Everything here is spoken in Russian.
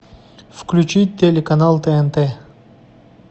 включить телеканал тнт